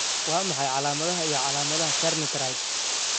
Waa maxay calaamadaha iyo calaamadaha Carney triad?